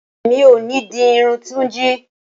Rara, Emi ko ni di irun Tunji.